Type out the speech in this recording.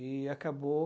E acabou.